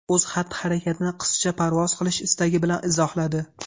O‘z xatti-harakatini qizcha parvoz qilish istagi bilan izohladi.